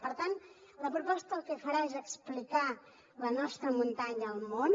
per tant la proposta el que farà és explicar la nostra muntanya al món